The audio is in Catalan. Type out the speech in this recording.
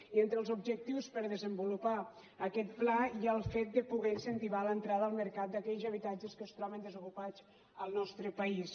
i entre els objectius per desenvolupar aquest pla hi ha el fet de poder incentivar l’entrada al mercat d’aquells habitatges que es troben desocupats al nostre país